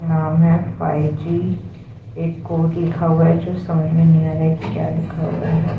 नाम है फाई जी एक कोड लिखा हुआ हैं जो समझ में नही आ रहा हैं कि क्या लिखा हुआ हैं।